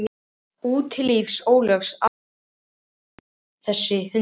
Úti á lífsins ólgusjó asnast þessi hundur.